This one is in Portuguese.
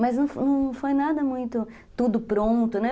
Mas não não foi nada muito tudo pronto, né?